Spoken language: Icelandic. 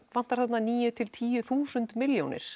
vantar þarna níu til tíu þúsund milljónir